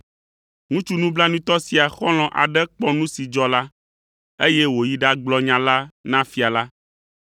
Ŋutsu nublanuitɔ sia xɔlɔ̃ aɖe kpɔ nu si dzɔ la, eye wòyi ɖagblɔ nya la na fia la.